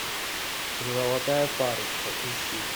золотая парочка ищи